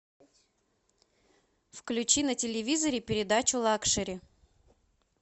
включи на телевизоре передачу лакшери